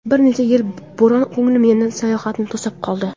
Bir necha yil burun ko‘nglim yana sayohatni tusab qoldi.